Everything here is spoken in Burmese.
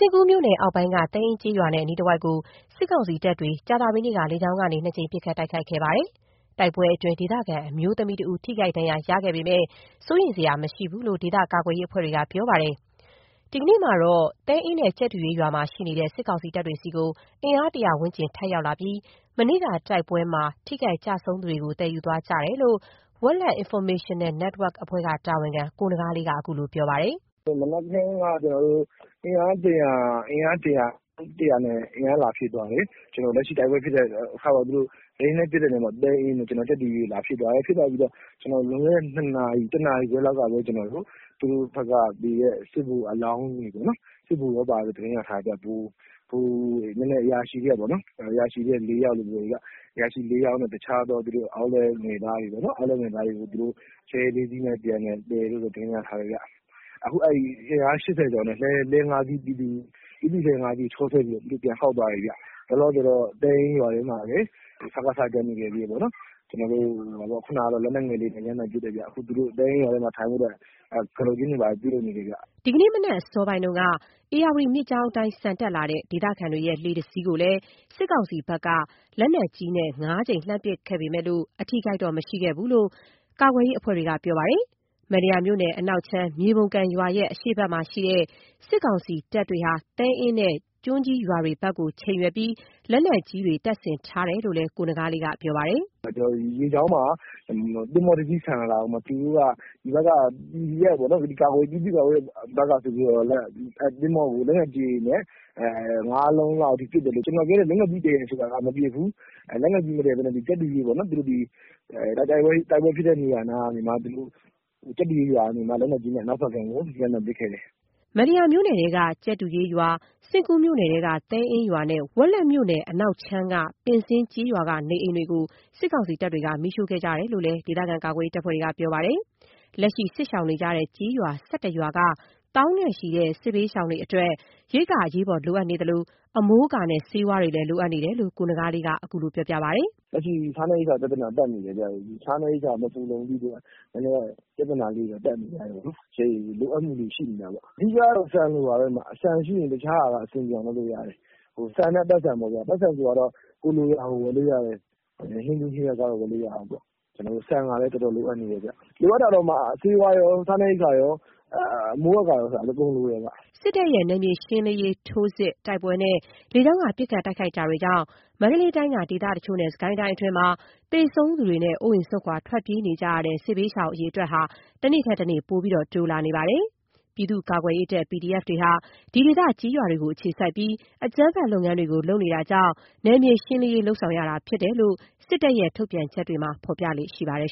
ဉ့်ကူးမြို့နယ်အောက်ပိုင်းက သဲအင်းကျေးရွာနဲ့ အနီးတဝိုက်ကို စစ်ကောင်စီတပ်တွေ ကြာသပတေးနေ့က လေကြောင်းကနေ ၂ ကြိမ် ပစ်ခတ်တိုက်ခိုက်ခဲ့ပါတယ်။ တိုက်ပွဲတွေအတွင်း ဒေသခံ အမျိုးသမီးတစ်ဦး ထိခိုက်ဒဏ်ရာရခဲ့ပေမဲ့ စိုးရိမ်စရာမရှိဘူးလို့ ဒေသကာကွယ်ရေး အဖွဲ့တွေကပြောပါတယ်။ ဒီကနေ့မှာတော့ သဲအင်းနဲ့ကြက်တူရွေးရွာမှာ ရှိနေတဲ့ စစ်ကောင်စီတပ်တွေဆီကို အင်အား ၁၀၀ ဝန်းကျင် ထပ်ရောက်လာပြီး မနေ့က တိုက်ပွဲမှာ ထိခိုက်ကျဆုံးသူတွေကို သယ်ယူသွားကြတယ်လို့ Wetlet Informational Network က တာဝန်ခံ ကိုနဂါးလေးက ခုလိုပြောပါတယ်။ “မနက်ခင်းက အင်အား ၁၀၀ လောက်နဲ့ အင်အား လာဖြည့်သွားတယ်။ လက်ရှိတိုက်ပွဲဖြစ်ခဲ့တဲ့၊ လေယာဉ်နဲ့ လာပစ်တဲ့ သဲအင်းတို့ ကြက်တူရွေးတို့ဖက်မှာ လာဖြည့်သွားတယ်။ ဖြည့်သွားပြီးတော့ ၁ နာရီခွဲလောက်ကပဲ သူတို့ဖက်က သေတဲ့ စစ်ဗိုလ်အလောင်းတွေပေါ့နော်၊ စစ်ဗိုလ်တွေပါတဲ့လို့ သတင်းရထားတယ်ဗျ၊ ဗိုလ်တွေ အရာရှိတွေထဲက ၄ ယောက်လို့ပြောတယ်ဗျ။ ပြီးတော့ တခြားသော လက်အောက်ငယ်သားတွေပေါ့နော်၊ အဲ့ဒါတွေကို သူတို့ လှည်း ၅ စီးနဲ့ပြန်သယ်သွားတယ်လို့တော့ သတင်းရထားတယ်ဗျ။ အခု သူတို့ အင်အား ၈၀ ကျော်နဲ့ လှည်း ၅ စီးနဲ့ သူတို့ ပြည်သူ့လှည်း ၅ စီးကို ချောဆွဲပြီးတော့ သူတို့ ပြန်ခေါက်သွားတယ်ဗျ။ လောလောဆယ်တော့ သဲအင်းရွာထဲမှာလည်း စကစ တချို့ ကျန်နေခဲ့သေးတယ်ပေါ့နော်။ ခုဏကတော့ လက်နက်ငယ်လေးတွေနဲ့ ရမ်းသမ်းပစ်တယ်ဗျ။ သူတို့ သဲအင်းရွာထဲမှာ နေဖို့အတွက် ကတုတ်ကျင်းတွေ တူးနေတယ်ဗျ။” ဒီနေ့ မနက်အစောပိုင်းတုန်းက ဧရာဝတီမြစ်ကြောင်းအတိုင်း ဆန်တက်လာတဲ့ ဒေသခံတွေရဲ့ လှေတစ်စီးကိုလည်း စစ်ကောင်စီဖက်က လက်နက်ကြီးနဲ့ ၅ ကြိမ် လှမ်းပစ်ခတ်ခဲ့ပေမဲ့ အထိအခိုက်တော့ မရှိခဲ့ဘူးလို့ ကာကွယ်ရေး အဖွဲ့တွေက ဆိုပါတယ်။ မတ္တရာမြို့နယ် အနောက်ခြမ်း မြွေပုံကန်ရွာရဲ့ အရှေ့ဖက်မှာရှိတဲ့ စစ်ကောင်စီတပ်တွေက သဲအင်းနဲ့ ကျွန်းကြီးရွာတွေဖက်ကို ချိန်ရွယ်ပြီး လက်နက်ကြီးတွေ တပ်ဆင်ထားတယ်လို့ ကိုနဂါးလေးက ပြောပါတယ်။ “မြစ်ကြောင်းမှာ သင်္ဘောတစ်စီး ဆန်လာတာကို သူတို့က ပြည်သူ့ကာကွယ်ရေးဖက်က သင်္ဘောထင်ပြီးတော့ လက်နက်ကြီးတွေနဲ့ ၅ လုံးလောက်ပစ်တယ်။ ကျွန်တော်ပြောတဲ့ လက်နက်ကြီးတည်တာကတော့ မပစ်ဘူး၊ လက်နက်ကြီးမတည်ထားပဲနဲ့ ကြက်တူရွေးပေါ့နော် ဒီတိုက်ပွဲဖြစ်တဲ့ နေရာနားကနေမှ အနောက်ဖက်ကမ်းကို ရမ်းသမ်းပစ်ခဲ့တယ်။” မတ္တရာမြို့နယ်ထဲက ကြက်တူရွေးရွာ၊ စဉ့်ကူးမြို့နယ်ထဲက သဲအင်းရွာနဲ့ ဝက်လက်မြို့နယ်က အနောက်ခြမ်းက ပင်းဇင်း ကျေးရွာက နေအိမ်တွေကို စစ်ကောင်စီတပ်တွေက မီးရှို့ခဲ့ကြတယ်လို့လည်း ဒေသကာကွယ်ရေးအဖွဲ့တွေကပြောပါတယ်။ လက်ရှိစစ်ရှောင်နေကြရတဲ့ ကျေးရွာ ၁၁ ရွာက သောင်းနဲ့ချီတဲ့ စစ်ဘေးရှောင်တွေအတွက် ရိက္ခာအရေးပေါ်လိုအပ်နေသလို အမိုးအကာနဲ့ ဆေးဝါးတွေလည်း လိုအပ်နေကြတယ်လို့ ကိုနဂါးလေးက ခုလိုပြောပါတယ်။ “လက်ရှိစားနပ်ရိက္ခာပြဿနာတက်နေတယ်ဗျ၊ စားနပ်ရိက္ခာ မဖူလုံတဲ့အတွက် နည်းနည်း ပြဿနာလေးတွေတော့ တက်နေကြတယ်ပေါ့။ လိုအပ်မှုလေးတွေ ရှိနေတာပေါ့။ အဓိကက ဆန်လိုနေတာ၊ ဆန်ရှိရင် တခြားဟာက အဆင်ပြေအောင်လုပ်လို့ရတယ်။ ဆန်နဲ့ ပိုက်ဆံပေါ့ဗျာ။ ပိုက်ဆံဆိုတာကတော့ ကိုယ်လိုရာကို ဝယ်လို့ရတယ်။ ဟင်းသီးဟင်းရွက်ကစ ဝယ်ဖို့လိုတာပေါ့။ ဆန်ကတော့ တော်တော်လိုအပ်နေတယ်ဗျ။ လိုအပ်တာကတော့ ဆေးဝါးရော စားနပ်ရိက္ခာရော အမိုးအကာရော အကုန်လိုတယ်ဗျ။” စစ်တပ်ရဲ့ နယ်မြေရှင်းလင်းရေး ထိုးစစ်၊ တိုက်ပွဲတွေနဲ့ လေကြောင်းက ပစ်ခတ်တိုက်ခိုက်မှုတွေကြောင့် မန္တလေးတိုင်းက ဒေသတချို့နဲ့ စစ်ကိုင်းတိုင်းအတွင်းမှာ သေဆုံးသူတွေနဲ့ အိုးအိမ် စွန့်ခွာ ထွက်ပြေးနေကြရတဲ့ စစ်ဘေးရှောင် အရေအတွက်ဟာ တနေ့ထက်တနေ့ ပိုပြီး တိုးလာနေပါတယ်။ ပြည်သူ့ကာကွယ်ရေးတပ် PDF တွေဟာ ဒီဒေသ ကျေးရွာတွေကို အခြေစိုက်ပြီး အကြမ်းဖက် လုပ်ငန်းတွေ လုပ်နေတာကြောင့် နယ်မြေရှင်းလင်းရေးလုပ်နေတာဖြစ်တယ်လို့ စစ်တပ်ရဲ့ ထုတ်ပြန်ချက်တွေမှာ ဖော်ပြလေ့ရှိပါတယ်